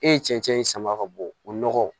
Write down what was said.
E ye cɛncɛn in sama ka bɔ o nɔgɔ